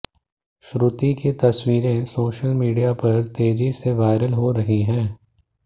श्रुति की तस्वीरें social media पर तेजी से वायरल हो रही हैं